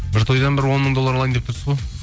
бір тойдан бір он мың доллар алайын деп тұрсыз ғой